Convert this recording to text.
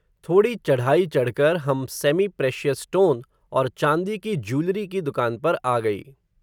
थोडी चढ़ाई चढ़ कर, हम सेमी प्रेशयस स्टोन, और चांदी की ज्यूलरी की दुकान पर आ गई